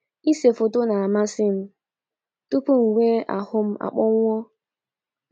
“ Ise foto na - amasị m tupu m nwee ahụ m akpọnwụọ.